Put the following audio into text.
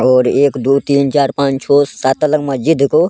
और एक दो तीन चार पांच छो सात तल्ला मस्जिद को --